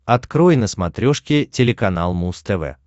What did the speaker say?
открой на смотрешке телеканал муз тв